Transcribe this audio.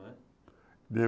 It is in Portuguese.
Como é?